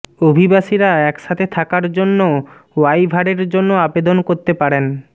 অভিবাসীরা একসাথে থাকার জন্য ওয়াইভারের জন্য আবেদন করতে পারেন